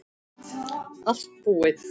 Allt búið